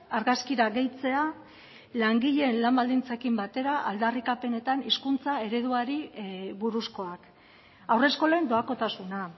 argazkira gehitzea langileen lan baldintzekin batera aldarrikapenetan hizkuntza ereduari buruzkoak haurreskolen doakotasuna